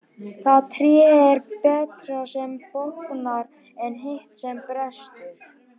Það tré er betra sem bognar en hitt sem brestur.